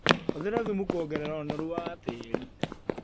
Hũthĩra thumu kuongerera ũnoru wa tĩrĩ.